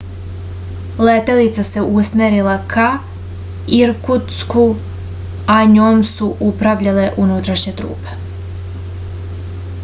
letelica se usmerila ka irkutsku a njom su upravljale unutrašnje trupe